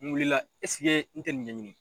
Nin wulila n tɛ nin ɲɛɲini.